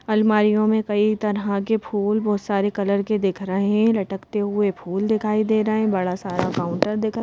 अलमारियों में कई तरह के फूल बहुत सारे कलर के दिख रहे हैं लटकते हुए फूल दिखाई दे रहे हैं बड़ा सारा काउंटर दिख रहा--